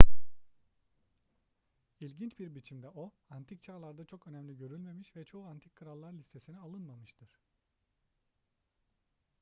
i̇lginç bir biçimde o antik çağlarda çok önemli görülmemiş ve çoğu antik krallar listesine alınmamıştır